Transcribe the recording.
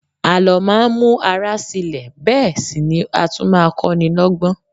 Àló máa ń mú ara sile bẹ́ẹ̀ sì ni a tún kó ni lọgbọ́n.